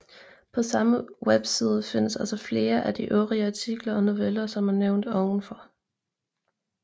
På samme webside findes også flere af de øvrige artikler og noveller som er nævnt ovenfor